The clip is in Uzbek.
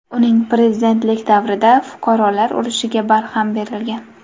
Uning prezidentligi davrida fuqarolar urushiga barham berilgan.